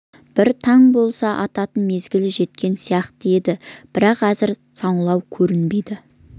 бір таң болса ататын мезгілі жеткен сияқты еді бірақ әзір саңлау көрінбейді